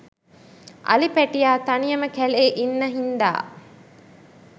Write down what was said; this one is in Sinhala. අලි පැටියා තනියම කැලේ ඉන්න හින්දා